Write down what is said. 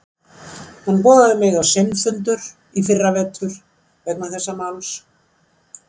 Hann boðaði mig á sinn fundur í fyrra vetur vegna þess máls.